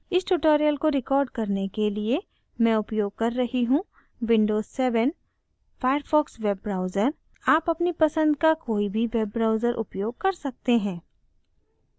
इस tutorial को record करने के लिए मैं उपयोग कर रही हूँ: